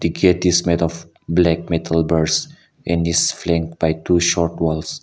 gate is made of black metal bursts and is by two short walls.